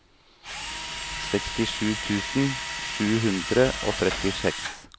sekstisju tusen sju hundre og trettiseks